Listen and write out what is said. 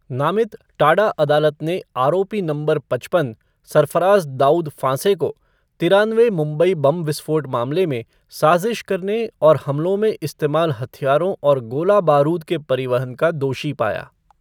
नामित टाडा अदालत ने आरोपी नंबर पचपन,, सरफराज़ दाऊद फांसे को 'तिरानवे मुंबई बम विस्फोट मामले में, साजिश करने और हमलों में इस्तेमाल हथियारों और गोला बारूद के परिवहन का दोषी पाया।